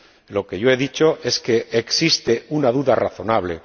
Lo que yo he dicho es que existe una duda razonable.